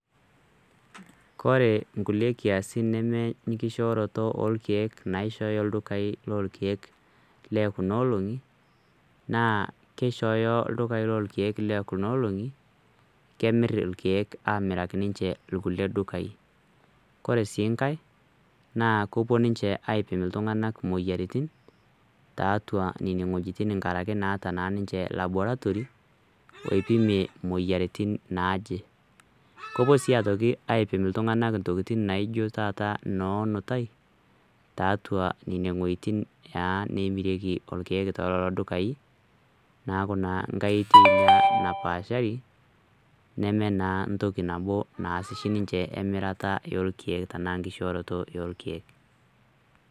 kore nkulie kiasin neme nkishooroto olkeek naishooyo ildukai lolkek lee kuna olong'i naa keishooyo ildukai lolkeek lee kuna olong'i kemirr ilkeek amiraki ninche ilkulie dukai kore sii nkae naa kopuo ninche aipim iltung'anak imoyiaritin taatua neneng'uejitin nkarake naata naa ninche laboratory oipimie imoyiaritin naaje kopuo sii atoki aipim iltung'anak ntokitin naijo taata noonutai taatua neneng'uejitin naa nemirieki olkeek tololo dukai naaku naa nkae eitei ina napaashari neme naa ntoki nabo naas eshi ninche emirata e olkeek tanaa nkishooroto eolkeek.